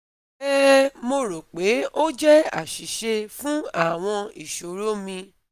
um Mo ro pe o jẹ aṣiṣe fun awọn iṣoro mi